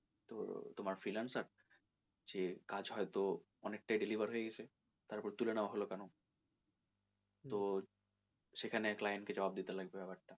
তো তোমার freelancer যে কাজ হয়তো অনেকটা deliver হয়ে গেছে তারপর তুলে নেওয়া হলো কেন তো সেখানে client কে জবাব দিতে লাগবে ব্যাপার টা।